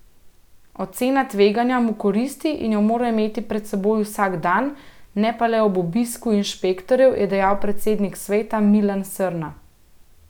Ocena tveganja mu koristi in jo mora imeti pred seboj vsak dan, ne pa le ob obisku inšpektorjev, je dejal predsednik sveta Milan Srna.